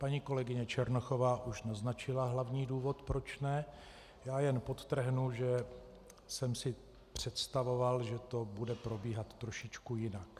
Paní kolegyně Černochová už naznačila hlavní důvod proč ne, já jen podtrhnu, že jsem si představoval, že to bude probíhat trošičku jinak.